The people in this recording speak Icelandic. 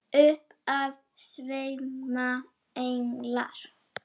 Upp af sveima englar.